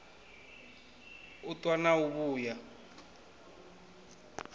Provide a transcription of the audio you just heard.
u ṱwa na u vhuya